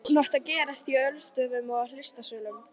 Hún átti að gerast á ölstofum og í listasölum.